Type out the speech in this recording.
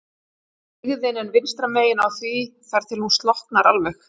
Sigðin er vinstra megin á því þar til hún slokknar alveg.